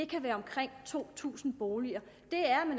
kan være omkring to tusind boliger